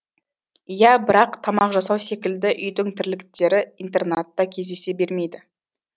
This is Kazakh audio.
иә бірақ тамақ жасау секілді үйдің тірліктері интернатта кездесе бермейді